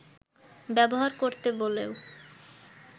ব্যবহার করতো বলেও